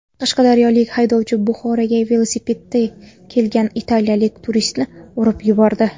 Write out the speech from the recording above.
Qashqadaryolik haydovchi Buxoroga velosipedda kelgan italiyalik turistni urib yubordi.